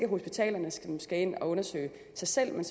hospitalerne der skal ind og undersøge sig selv men